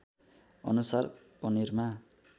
अनुसार पनिरमा